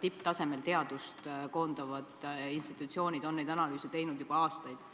tipptasemel teadust koondavad institutsioonid on teinud sellekohaseid analüüse juba aastaid.